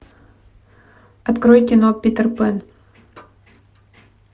открой кино питер пэн